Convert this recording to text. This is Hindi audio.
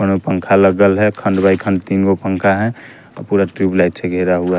पं पंखा लगल है खंड बाय खंड तीगो पंखा है पूरा ट्यूब लाइट से घेरा हुआ है।